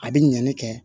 A bɛ ɲɛni kɛ